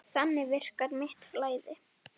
Þannig virkar mitt flæði.